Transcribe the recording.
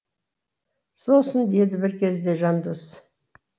сосын деді бір кезде жандос